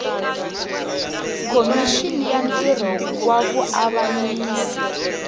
khomixini ya ntirho wa vuavanyisi